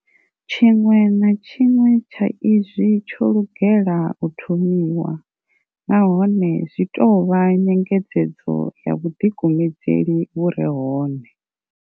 Tshiṅwe na tshiṅwe tsha izwi tsho lugela u thomiwa, nahone zwi tou vha nyengedzedzo ya vhuḓikumedzeli vhu re hone.